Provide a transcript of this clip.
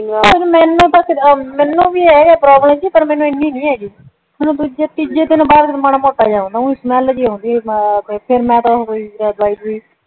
ਪਰ ਮੈਂਨੂੰ ਤਾਂ ਕੁਜ ਮੈਂਨੂੰ ਵੀ ਆਹੀ ਪ੍ਰੋਬਲਮ ਸੀ ਪਰ ਮੈਂਨੂੰ ਇੰਨੀ ਨਹੀਂ ਹੱਗੀ ਸੀ ਮੈਂਨੂੰ ਦੂਜੇ ਤੀਜੇ ਦਿਨ ਮਾੜਾ ਮੋਟਾ ਜੀਅ ਓਂਦਾਂ ਸੀ ਸਮੈੱਲ ਜੀ ਓਨਦੀ ਸੀ ਫੇਰ ਮੈਂ ਦਵਾਈ ਦਵਊਈ ਲਿੱਤੀ